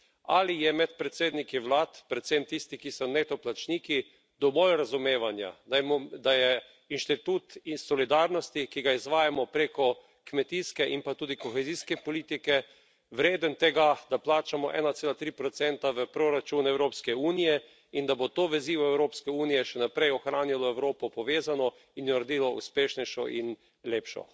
Ali je med predsedniki vlad, predvsem tisti, ki so neto plačniki, dovolj razumevanja, da je inštitut solidarnosti, ki ga izvajamo preko kmetijske in pa tudi kohezijske politike, vreden tega, da plačamo 1,3 v proračun Evropske unije, in da bo to vezivo Evropske unije še naprej ohranilo Evropo povezano in jo naredilo uspešnejšo in lepšo?